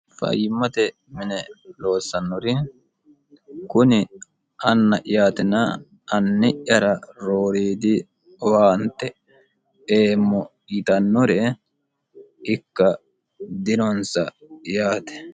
fayyimmate mine loossannori kuni anna'yaatina anni'yara rooriidi owaante eemmo yitannore ikka dinonsa yaate